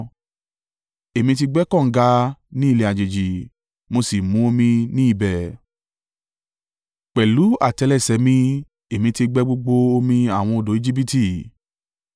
Èmi ti gbẹ́ kànga ní ilẹ̀ àjèjì mo sì mu omi ní ibẹ̀, pẹ̀lú àtẹ́lẹsẹ̀ mi Èmi ti gbẹ́ gbogbo omi àwọn odò Ejibiti.’